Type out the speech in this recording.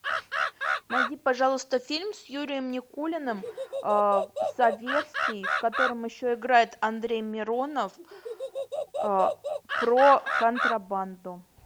найди пожалуйста фильм с юрием никулиным советский в котором еще играет андрей миронов про контрабанду